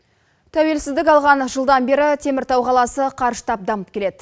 тәуелсіздік алған жылдан бері теміртау қаласы қарыштап дамып келеді